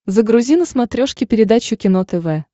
загрузи на смотрешке передачу кино тв